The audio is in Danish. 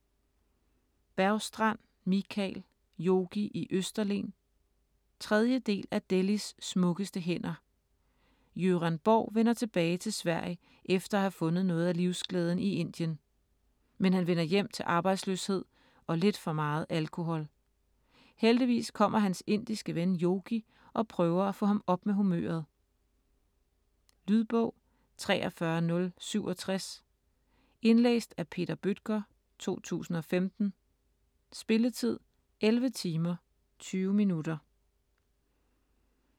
Bergstrand, Mikael: Yogi i Østerlen 3. del af Delhis smukkeste hænder. Göran Borg vender tilbage til Sverige efter at have fundet noget af livsglæden i Indien. Men han vender hjem til arbejdsløshed og lidt for meget alkohol. Heldigvis kommer hans indiske ven Yogi og prøver at få ham op med humøret. Lydbog 43067 Indlæst af Peter Bøttger, 2015. Spilletid: 11 timer, 20 minutter.